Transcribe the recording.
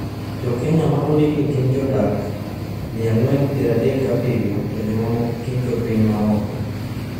Jo Kenya ma ondiki ni gin jodak 437 to jomamoko gin jopiny ma oko.